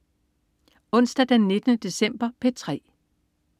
Onsdag den 19. december - P3: